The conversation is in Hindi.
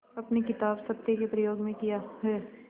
अपनी किताब सत्य के प्रयोग में किया है